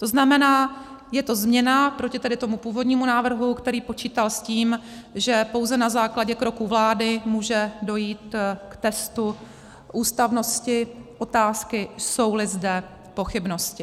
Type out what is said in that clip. To znamená, je to změna proti tomu původnímu návrhu, který počítal s tím, že pouze na základě kroků vlády může dojít k testu ústavnosti otázky, jsou-li zde pochybnosti.